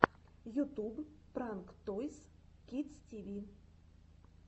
ютуб пранк тойс кидс ти ви